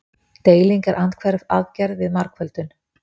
Deiling er andhverf aðgerð við margföldun.